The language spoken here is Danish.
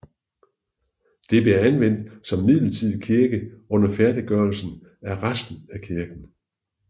Det blev anvendt som midlertidig kirke under færdiggørelsen af resten af kirken